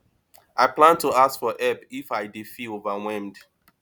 i plan to ask for help if i dey feel overwhelmed